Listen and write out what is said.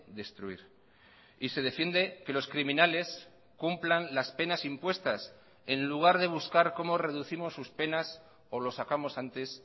destruir y se defiende que los criminales cumplan las penas impuestas en lugar de buscar cómo reducimos sus penas o los sacamos antes